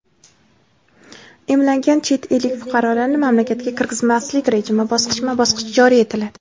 emlanmagan chet ellik fuqarolarni mamlakatga kirgizmaslik rejimi bosqichma-bosqich joriy etiladi.